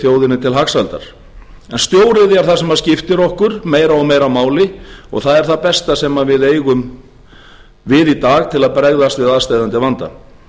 til hagsældar en stóriðja er það sem skiptir okkur meira og meira máli og það er það besta sem við eigum í dag til að bregðast við aðsteðjandi vanda